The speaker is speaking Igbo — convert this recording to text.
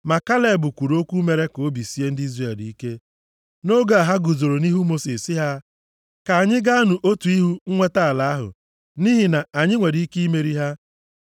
Ma Kaleb kwuru okwu mere ka obi sie ndị Izrel ike nʼoge a ha guzoro nʼihu Mosis sị ha, “Ka anyị gaanụ otu ihu nweta ala ahụ. Nʼihi na anyị nwere ike imeri ha.”